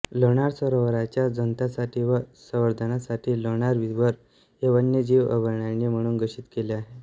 लोणार सरोवराच्या जतनासाठी व संवर्धनासाठी लोणार विवर हे वन्यजीव अभयारण्य म्हणून घोषित केले आहे